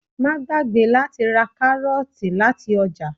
Má gbàgbé láti ra Kárọ́ọ̀tì láti ọjà.